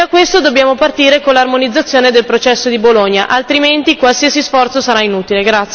E da questo dobbiamo partire con l'armonizzazione del processo di Bologna, altrimenti qualsiasi sforzo sarà inutile.